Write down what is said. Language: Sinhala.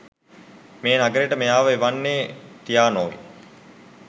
මේ නගරෙට මෙයාව එවන්නේ ටියානොයි.